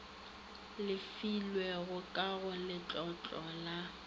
lefilwego ka go letlotlo la